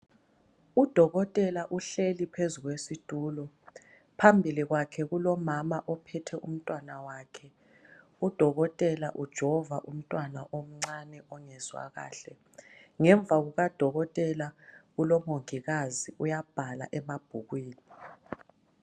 Udokotela uhleli phezu kwesitulo phambili kwakhe kulomama ophethe umntwana wakhe udokotela ujova umntwana omncane ongezwa kahle ngemva kukadokotela kulomongikazi uyabhala emabhukwini.